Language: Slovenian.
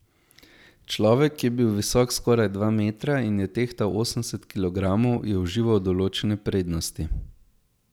Človek, ki je bil visok skoraj dva metra in je tehtal osemdeset kilogramov, je užival določene prednosti.